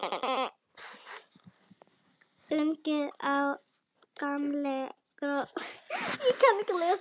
Ungi og gamli gröfustjórinn veifa til forsetans, fegnir að sjá hann aftur.